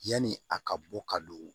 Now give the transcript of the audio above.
Yani a ka bɔ ka don